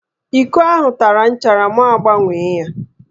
Íkó ahụ tara nchara mụ agbanwee ya